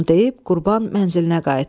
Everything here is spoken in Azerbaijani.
Bunu deyib Qurban mənzilinə qayıtdı.